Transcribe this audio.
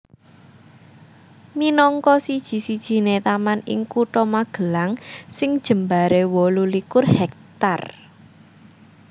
Minangka siji sijiné taman ing Kutha Magelang sing jembaré wolu likur hektar